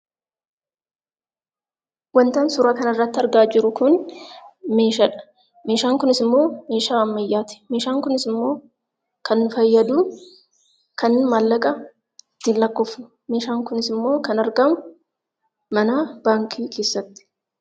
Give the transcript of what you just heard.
Wantan suuraa kana irratti argaa jiru kun meeshaadha. Meeshaan kunis immoo meeshaa ammayyaati. Meeshaan kunis immoo kan fayyadu kanin maallaqa ittiin lakkoofnuudha. Meeshaan kunisimmoo kan argamu manaaf baankii keessatti.